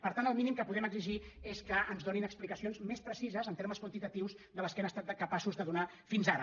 per tant el mínim que podem exigir és que ens en donin explicacions més precises en termes quanti·tatius de les que han estat capaços de donar fins ara